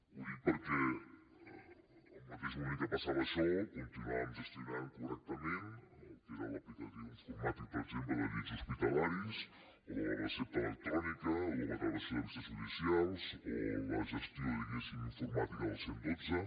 ho dic perquè al mateix moment que passava això continuàvem gestionant correctament el que era l’aplicació informàtica per exemple de llits hospitalaris o de la recepta electrònica o de la gravació de vistes judicials o la gestió informàtica del cent i dotze